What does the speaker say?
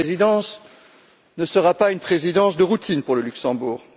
Cette présidence ne sera pas une présidence de routine pour le Luxembourg.